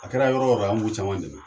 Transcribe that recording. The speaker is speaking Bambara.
A kɛra yɔrɔ yɔrɔ an b'u caman dɛmɛ